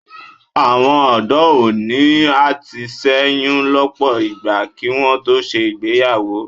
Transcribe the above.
Àwọn ọ̀dọ́ òní a ti ṣẹ́yún lọ́pọ̀ ìgbà kí wọn tó ṣe ìgbéyàwó